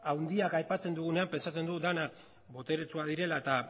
handiak aipatzen dugunean pentsatzen dugu denak boteretsuak direla